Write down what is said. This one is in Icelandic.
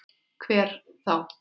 Hver þá?